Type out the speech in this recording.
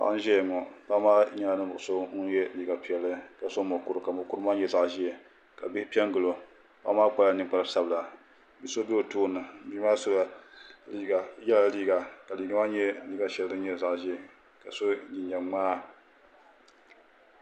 Paɣa n ʒɛya ŋɔ paɣa maa nyɛla ninvuɣu so ŋun yɛ liiga piɛlli ka so mokuru ka mokuru maa nyɛ zaɣ ʒiɛ ka bihi piɛ n gilo paɣa maa kpala ninkpari sabila bia so bɛ o tooni Bia maa yɛla liiga ka liiga maa nyɛ zaɣ ʒiɛ ka so jinjɛm ŋmaa